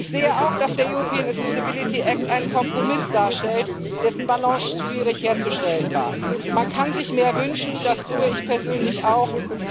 Ich sehe auch, dass der European Accessibility Act einen Kompromiss darstellt, dessen Balance schwierig herzustellen war. Man kann sich mehr wünschen, das tue ich persönlich auch.